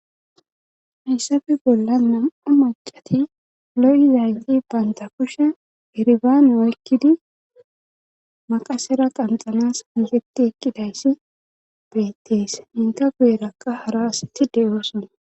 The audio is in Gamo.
Hayssafi bolla nam'a macati lo'izayti baynta kushe iribaane oykkidi maqasera qanxanas hangeti ekkidayssi beettes inka guyerakka hara asatti de'ooson.